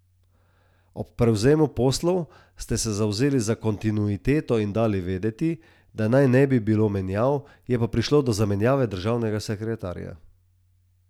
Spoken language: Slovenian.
Ob prevzemu poslov ste se zavzeli za kontinuiteto in dali vedeti, da naj ne bi bilo menjav, je pa prišlo do zamenjave državnega sekretarja.